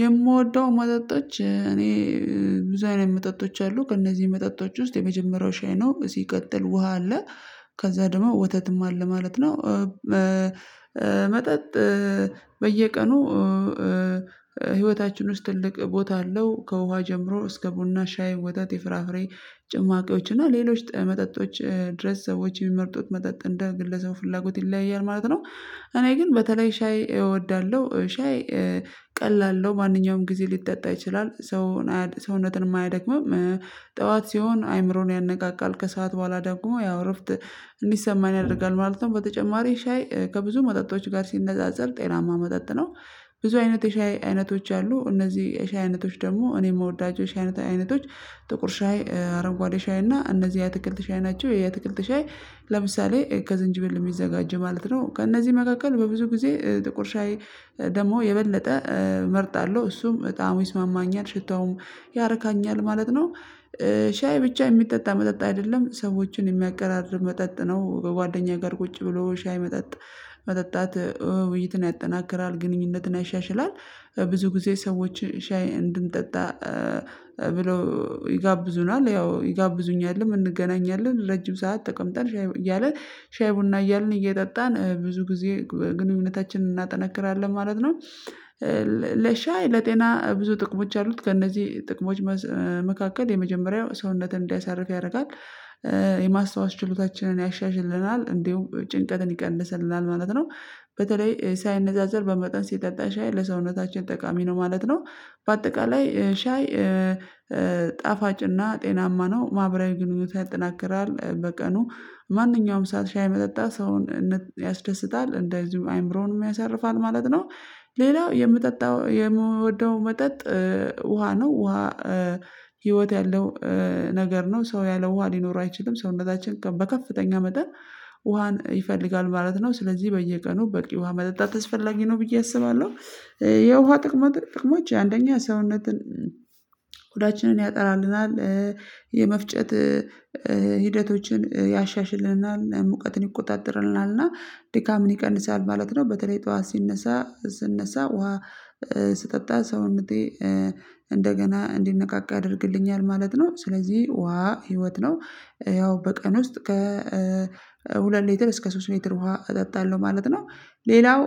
የምወደው መጠጦች እኔ ብዙ ኣይነት መጠጦች አሉ ከእነዚህ መጠጦች ውስጥ የመጀመሪያው ሻይ ነው ሲቀጥል ውሃ አለ ከዛ ደግሞ ወተትም አለ ማለት ነው። መጠጥ በየቀኑ ህይወታችን ውስጥ ትልቅ ቦታ አለው ከውሃ ጀምሮ እስከ ቡና ሻይ ወተት የፍራፍሬ ጭማቂዎች እና ሌሎች መጠጦች ድረስ ሶዎች የሚመርጡት መጠጥ እንደ ግለሰቡ ፍላጎት ይለያያል ማለት ነው። እኔ ግን በተለይ ሻይ እወዳለሁ። ሻይ ቀላል ነው ማንኛውም ጊዜ ሊጠጣ ይችላል ሰውን ሰውነትን የማያደክመው ጠዋት ሲሆን አይምሮን ያነቃቃል ከሰአት በኋላ ደግሞ ያው እረፍት እንዲሰማን ያደርጋል ማለት ነው። በተጨማሪ ሻይ ከብዙ መጠጦች ጋር ሲነጻጸር ጤናማ መጠጥ ነው። ብዙ አይነት የሻይ አይነቶች አሉ እነዚህ የሻይ አይነቶች ደግሞ እኔ የምወዳቸው የሻይ አይነት አይነቶች ጥቁር ሻይ አረጓዴ ሻይ እና እነዚህ የትክልት ሻይ ናቸው። የትክልት ሻይ ለምሳሌ ከዝንጅብል የሚዘጋጅ ማለት ነው ከእነዚህ መካከል በብዙ ጊዜ ጥቁር ሻይ ደግሞ የበለጠ እመርጣለሁ እሱም በጣም ይስማማኛል ሽታውም ያርካኛል ማለት ነው። ሻይ ብቻ የሚጠጣ መጠጥ አይደለም ሰዎችን የሚያቀራርብ መጠጥ ነው በጓደኛ ጋር ቁጭ ብሎ ሻይ መጠጥ መጠጣት ውይይትን ያጠናክራል ግንኙነትን ያሻሽላል። ብዙ ጊዜ ሰዎች ሻይ እንድንጠጣ ብሎ ይጋብዙናል ያው ይጋብዙኛል እንገናኛለን ረጅም ሰዓት ተቀምጠን ሻይ እያልን ሻይ ቡና እያልን እየጠጣን ብዙ ጊዜ ግንኙነታችንን እናጠነክራለን ማለት ነው። ለሻይ ለጤና ብዙ ጥቅሞች አሉት ከእነዚህ ጥቅሞች መካከል የመጀመሪያው ሰውነትን እንዳያሳርፍ ያደርጋል። የማስታወስ ችሎታችንን ያሻሽልናል እንደው ጭንቀትን ይቀንስልናል ማለት ነው። በተለይ ሳይነዛዘር በመጠን ሲጠጣ ሻይ ለሰውነታችን ጠቃሚ ነው ማለት ነው። በአጠቃላይ ሻይ ጣፋጭና ጤናማ ነው ማህበራዊ ግንኙነት ያጠናክራል በቀኑ ማንኛውም ሰዓት ሻይ መጠጣት ሰውን ያስደስታል እንደዚሁ አይምሮንም ያሳርፋል ማለት ነው። ሌላው የምጠጣው የምወደው መጠጥ ውሃ ነው። ውሃ ህይወት ያለው ነገር ነው። ሰው ያለ ውሃ ሊኖር አይችልም ሰውነታችን በከፍተኛ መጠን ውሃን ይፈልጋል ማለት ነው። ስለዚህ በየቀኑ በቂ ውሃ መጠጣት አስፈላጊ ነው ብዬ አስባለሁ። የውሃ ጥቅማ ጥቅማችን አንደኛ ሰውነትን ሁዳችንን ያጠራልናል የመፍጨት ሂደቶችን ያሻሽልናል ሙቀትን ይቆጣጠርናልና እና ድካምን ይቀንሳል ማለት ነው። በተለይ ጠዋት ሲነሳ ስነሳ ውሃ ስጠጣ ሰዉነቴ እንደገና እንዲነቃቃ ያደርግልኛል ማለት ነው። ስለዚህ ውሃ ህይወት ነው። ያው በቀን ውስጥ ከ ሁለት ሌትር እስከ ሶስት ሊትር ውሃ እጠጣለሁ ማለት ነው። ሌላው